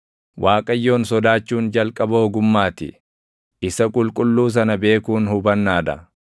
“ Waaqayyoon sodaachuun jalqaba ogummaa ti; isa Qulqulluu Sana beekuun hubannaa dha.